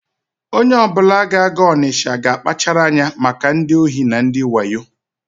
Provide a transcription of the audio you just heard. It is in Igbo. Onye ọbụla ga-aga Ọnịsha ga-akpachara anya maka ndị ohi na ndị wayo.